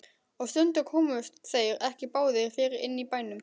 Og stundum komust þeir ekki báðir fyrir inni í bænum.